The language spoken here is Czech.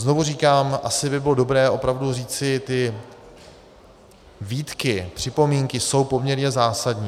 Znovu říkám, asi by bylo dobré opravdu říci, ty výtky, připomínky jsou poměrně zásadní.